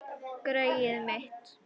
Greyið mitt